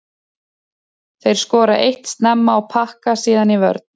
Þeir skora eitt snemma og pakka síðan í vörn.